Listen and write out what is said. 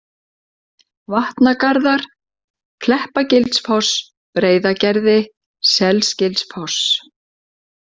Vatnagarðar, Kleppagilsfoss, Breiðagerði, Selgilsfoss